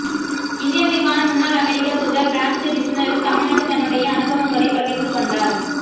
இந்தியாவிற்கான முன்னாள் அமெரிக்க தூதர் பிராங்க் விஸ்னரும் தமிழ்நாட்டில் தன்னுடைய அனுபவங்களை பகிர்ந்து கொண்டார்